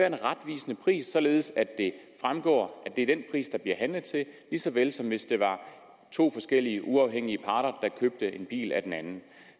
en retvisende pris således at det fremgår at det er den pris der bliver handlet til lige så vel som hvis det var to forskellige uafhængige parter der købte en bil af hinanden